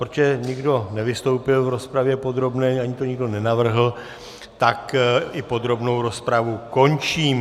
Protože nikdo nevystoupil v rozpravě podrobné, ani to nikdo nenavrhl, tak i podrobnou rozpravu končím.